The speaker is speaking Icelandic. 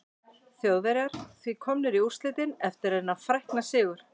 Þjóðverjar því komnir í úrslitin eftir þennan frækna sigur.